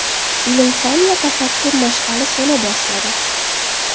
Ilm-fan va tafakkur mash’ali so‘na boshladi.